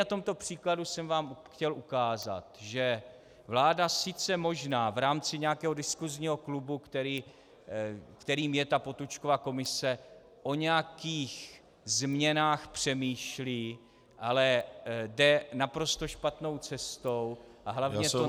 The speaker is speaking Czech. Na tomto příkladu jsem vám chtěl ukázat, že vláda sice možná v rámci nějakého diskusního klubu, kterým je ta Potůčkova komise, o nějakých změnách přemýšlí, ale jde naprosto špatnou cestou, a hlavně to nejsou -